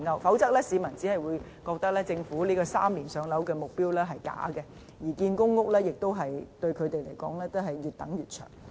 否則，市民只會覺得政府提出 "3 年上樓"的目標是假的，而且即使興建公屋，他們仍是要越等越長。